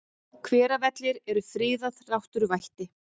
Hveravellir eru friðað náttúruvætti.